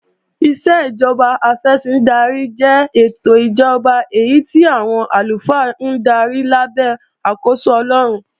Ìṣèjọba afẹ̀sìndarí jẹ́ ètò ìjọba èyí tí àwọn àlùfáà ń darí lábẹ́ àkóso Ọlọ́run